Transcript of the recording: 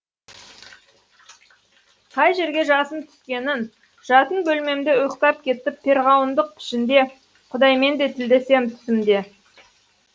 қай жерге жасын түскенін жатын бөлмемде ұйықтап кетіп перғауындық пішінде құдаймен де тілдесемін түсімде